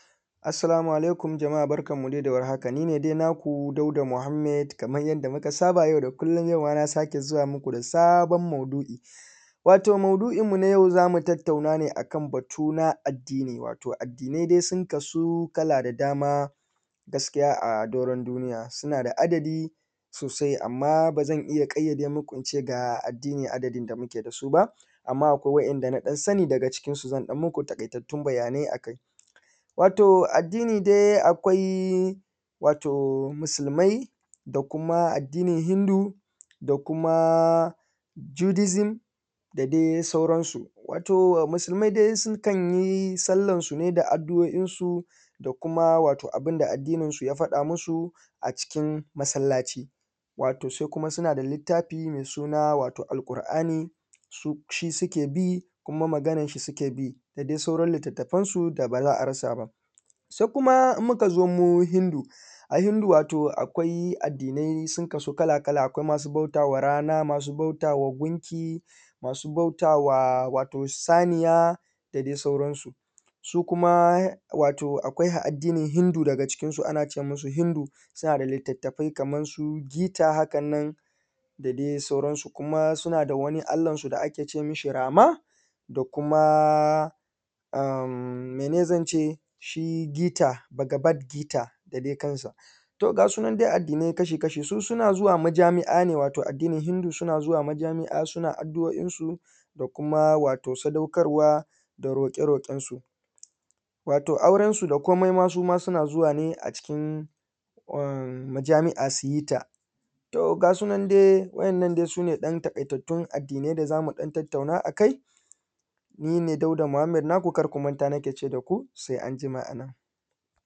Assalamu`alaikum jama`a nine dai naku Dauda Muhammed kaman yadda muka saba yau da kullum, yau ma na sake zuwa muku da sabon maudu`I, wato maudu`in mu na yau za mu tattauna ne akan batu na addini wato addinai dai sun kasu kala da dama gaskiya a doron duniya suna da adadi sosai amma ba zan iya ƙaiyade muku ince ga addini adadin da muke da su ba amma akwai waɗanda na ɗan sani daga ciki su zan ɗan muku taƙaitattun bayanai a kai, wato addini dai akwai wato musulmai da kuma addinin “hindu” da kuma “judism” da dai sauran su, wato musulmai dai sukan yi sallan su ne da addu`o`in su da kuma wato abida addinin su ya faɗa musu a cikin masallaci, wato sai kuma suna da littafi mai suna wato Alqur`ani su shi suke bikuma maganan shi suke bi da dai sauran littafan su da ba za a rasa ba, sai kuma in muka zo mu hindu, a hindu wato akwai addinai sun kasu kala kala, akwai masu bautawa rana, akwai masu bautawa gunki, masu bautawa wato saniya da dai sauran su, su kuma wato akwai addinin hindu daga cikin su an ace musu hindu suna da littattafai kaman su gita hakan nan da dai sauran su, kuma suna da wani Allah su da ake ce mishi Rama da kuma am mene zan ce shi gita baga bat gita da dai kansa to gasu nan dai addinai kashi kashi su suna zuwa majami`a ne wato addinin hindu suna zuwa majami`a suna addu`o`in su da kuma wato sadaukarwa da roƙe roƙen su wato auren su da komai ma suma suna zuwa ne a cikin um mijami`a suyi ta to gasu nan dai wa`yannan sune ɗan taƙaitattun addinai da zamu ɗan tattauna a kai, ni ne Dauda Muhammed naku karku manta nake ce da ku sai anjima.